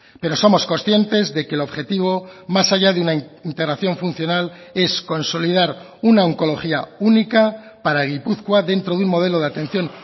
pero somos conscientes de que el objetivo más allá de una integración funcional es consolidar una oncología única para gipuzkoa dentro de un modelo de atención